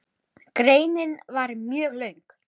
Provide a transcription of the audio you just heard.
Greinin var mjög löng.